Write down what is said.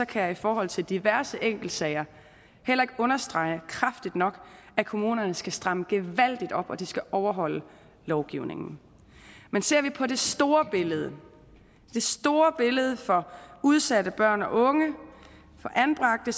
kan jeg i forhold til diverse enkeltsager heller ikke understrege kraftigt nok at kommunerne skal stramme gevaldigt op og at de skal overholde lovgivningen men ser vi på det store billede store billede for udsatte børn og unge for anbragte